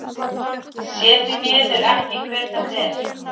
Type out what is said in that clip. Sé því miður ekki hver þetta er.